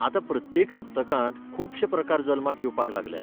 आतां प्रत्येक सप्तकांत खुबशें प्रकार जल्माक येवपाक लागल्यात.